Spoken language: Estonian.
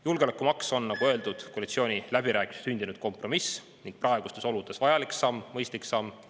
Julgeolekumaks on, nagu öeldud, koalitsiooniläbirääkimistel sündinud kompromiss ning praegustes oludes vajalik samm, mõistlik samm.